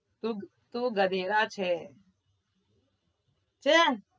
તું, તું ગધેડા છે છે